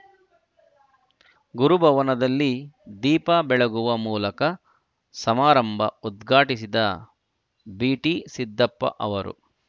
ಗುರು ಭವನದಲ್ಲಿ ದೀಪ ಬೆಳಗುವ ಮೂಲಕ ಸಮಾರಂಭ ಉದ್ಘಾಟಿಸಿದ ಬಿಟಿ ಸಿದ್ದಪ್ಪ ಅವರು